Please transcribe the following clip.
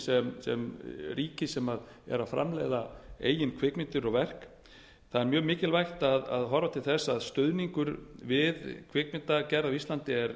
á ríkis sem er að framleiða eigin kvikmyndir og verk það er mjög mikilvægt að horfa til þess að stuðningur við kvikmyndagerð á íslandi er